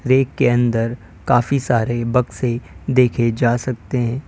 Rack के अंदर काफी सारे बक्सें देखे जा सकते हैं।